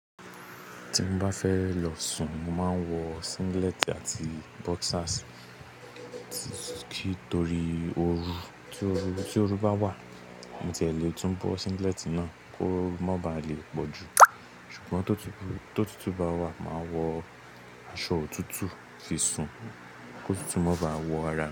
Tí mo bá fẹ́ lọ sùn, mo máa ń wọ singlet àti boxers. Kí torí oru tí oru bá wà, mo ti ẹ le tún bọ́ singlet náà ki oru má ba à le pọ̀ jù. Ṣùgbọ́n tó tútù bá wà, màá wọ aṣọ òtútù fi sùn kó tútù má ba à wọ ara mi.